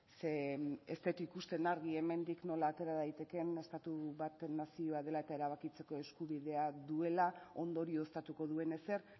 zeren ez dut ikusten argi hemendik nola atera daitekeen estatu bat nazio dela eta erabakitzeko eskubidean duela ondorio estatuko duen ezer